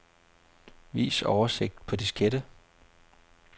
Vis oversigt på diskette.